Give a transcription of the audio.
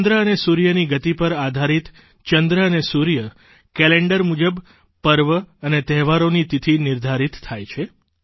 ચંદ્ર અને સૂર્યની ગતિ પર આધારિત ચંદ્ર અને સૂર્ય કેલેન્ડર મુજબ પર્વ અને તહેવારોની તિથિ નિર્ધારિત થાય છે